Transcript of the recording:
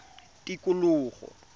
tikologo